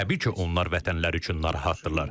Təbii ki, onlar vətənləri üçün narahatdırlar.